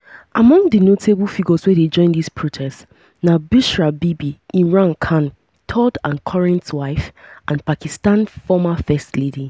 among di di notable figures wey dey join dis protests na bushra bibi imran khan third and current wife and pakistan former first lady.